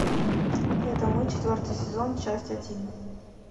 это мы четвертый сезон часть один